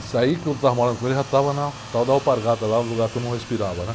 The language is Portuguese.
Isso aí que eu estava morando com ele já estava na tal da, lá, no lugar que eu não respirava, né?